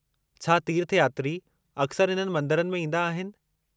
छा तीर्थयात्री अक्सर इन्हनि मंदरनि में ईंदा आहिनि?